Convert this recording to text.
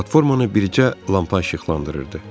Platformanı bircə lampa işıqlandırırdı.